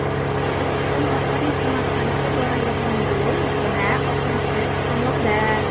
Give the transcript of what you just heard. Qozog‘iston orqali Samarqandga boradigan yo‘l yana ochilishi kutilmoqda.